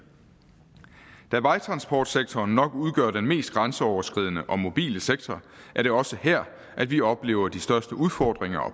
da vejtransportsektoren nok udgør den mest grænseoverskridende og mobile sektor er det også her at vi oplever de største udfordringer og